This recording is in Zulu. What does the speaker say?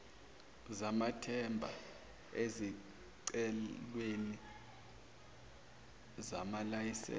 zamathenda ezicelweni zamalayisense